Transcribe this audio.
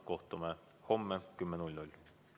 Kohtume homme kell 10.